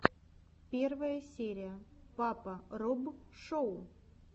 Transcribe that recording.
первая серия папа роб шоу